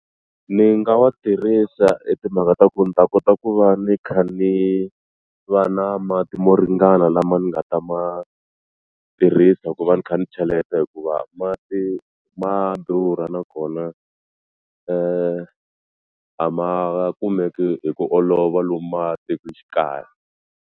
Ni nga wa tirhisa hi timhaka ta ku ni ta kota ku va ni kha ni va na mati mo ringana lama ni nga ta ma tirhisa ku va ni kha ni cheleta hikuva mati ma durha nakona a ma kumeki hi ku olova lomu matikoxikaya.